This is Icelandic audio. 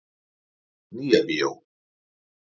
Nýja bíó